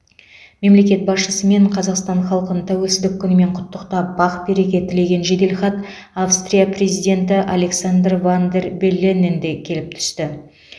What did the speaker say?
мемлекет басшысы мен қазақстан халқын тәуелсіздік күнімен құттықтап бақ береке тілеген жеделхат австрия президенті александр ван дер белленнен де келіп түсті